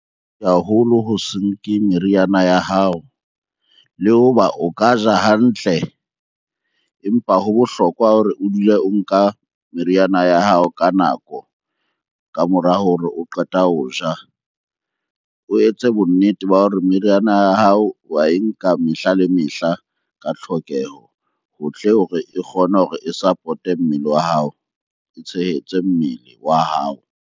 Haholo ho se nke meriana ya hao le hoba o ka ja hantle, empa ho bohlokwa hore o dule o nka meriana ya hao ka nako ka mora hore o qeta ho ja. O etse bonnete ba hore meriana ya hao wa e nka mehla le mehla ka tlhokeho ho tle hore e kgone hore e support-e mmele wa hao, e tshehetse mmele wa hao.